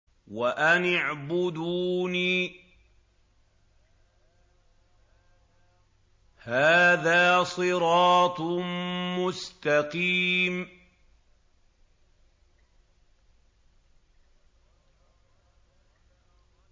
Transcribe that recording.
وَأَنِ اعْبُدُونِي ۚ هَٰذَا صِرَاطٌ مُّسْتَقِيمٌ